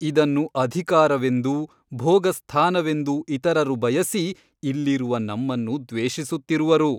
ಇದನ್ನು ಅಧಿಕಾರವೆಂದು ಭೋಗಸ್ಥಾನವೆಂದು ಇತರರು ಬಯಸಿ ಇಲ್ಲಿರುವ ನಮ್ಮನ್ನು ದ್ವೇಷಿಸುತ್ತಿರುವರು.